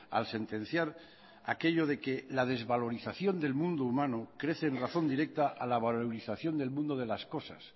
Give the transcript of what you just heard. al sentenciar aquello de que la desvalorización del mundo humano crece en razón directa a la valorización del mundo de las cosas